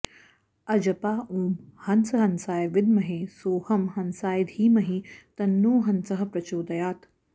अजपा ॐ हंस हंसाय विद्महे सोऽहं हंसाय धीमहि तन्नो हंसः प्रचोदयात्